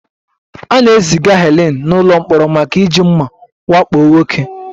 A na-eziga Helen n'ụlọ mkpọrọ maka iji mma wakpo nwoke